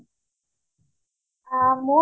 আহ মোৰ